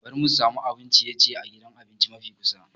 Bari mu sami abun ciye-ciye a gidan abinci mafi kusa.